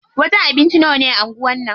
Wajen abinci nawane a anguwan nan?